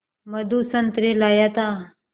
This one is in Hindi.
मधु संतरे लाया था